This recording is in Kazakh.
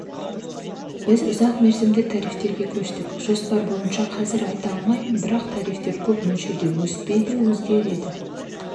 біз ұзақ мерзімді тарифтерге көштік жоспар бойынша қазір айта алмаймын бірақ тарифтер көп мөлшерде өспейді өзгереді